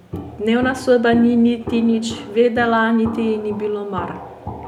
Dnevna soba ni niti nič vedela niti ji ni bilo mar.